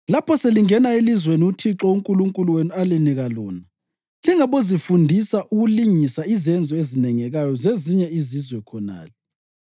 “Lapho selingena elizweni uThixo uNkulunkulu wenu alinika lona, lingabozifundisa ukulingisa izenzo ezinengekayo zezinye izizwe khonale.